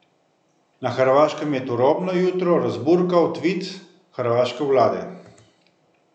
Na hrvaškem je turobno jutro razburkal tvit hrvaške vlade.